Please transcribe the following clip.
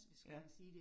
Ja